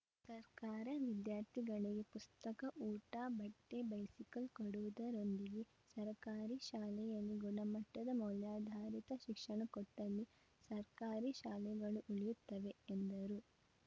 ಸರ್ಕಾರ ವಿದ್ಯಾರ್ಥಿಗಳಿಗೆ ಪುಸ್ತಕ ಊಟ ಬಟ್ಟೆ ಬೈಸಿಕಲ್‌ ಕೊಡುವುದರೊಂದಿಗೆ ಸರ್ಕಾರಿ ಶಾಲೆಯಲ್ಲಿ ಗುಣಮಟ್ಟದ ಮೌಲ್ಯಾಧಾರಿತ ಶಿಕ್ಷಣ ಕೊಟ್ಟಲ್ಲಿ ಸರ್ಕಾರಿ ಶಾಲೆಗಳು ಉಳಿಯುತ್ತವೆ ಎಂದರು